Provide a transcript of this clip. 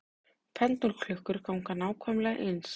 Pendúlklukkur ganga nákvæmlega eins.